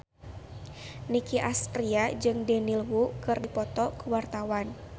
Nicky Astria jeung Daniel Wu keur dipoto ku wartawan